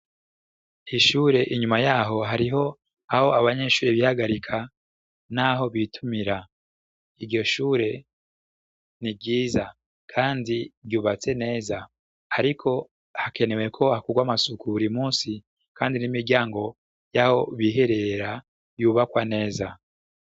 Ishure inyuma yaho hariho aho abanyeshure bihagarika, naho bitumira iryo shure ni ryiza, kandi ryubatse neza, ariko hakeneweko hakurwa amasuku buri musi, kandi n'imiryango y'aho biherera yubakwa neza.